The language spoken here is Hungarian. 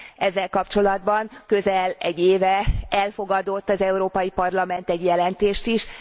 Ezzel kapcsolatban közel egy éve elfogadott az Európai Parlament egy jelentést is.